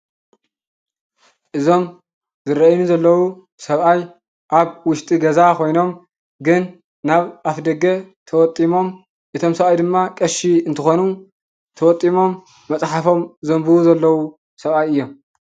እዞም ዝረአዩኒ ዘለው ሰብአይ አብ ውሽጢ ገዛ ኮይኖም ግን ናብ አፍ ደገ ተወጢሞም። እቶም ሰብአይ ድማ ቀሺ እንትኮኑ ተወጢሞም መፅሓፎም ዘንብቡ ዘለው ሰብአይ እዮም።